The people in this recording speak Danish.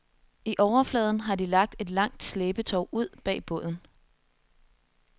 I overfladen har de lagt et langt slæbetov ud bag båden.